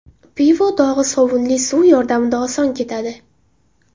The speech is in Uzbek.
Pivo dog‘i sovunli suv yordamida oson ketadi.